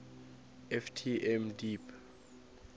ft m deep